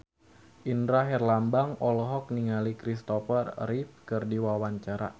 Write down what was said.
Indra Herlambang olohok ningali Kristopher Reeve keur diwawancara